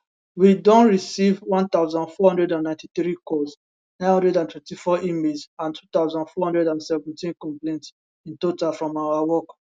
we don receive 1493 calls 924 emails and 2417 complaints in total from our work